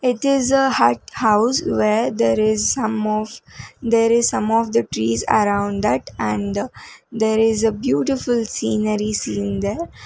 it is a hut house where there is some of there is some of the trees around that and the there is a beautiful sceneries seen there.